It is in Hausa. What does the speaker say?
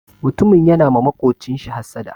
Mutumin yana ma maƙocinshi hassada.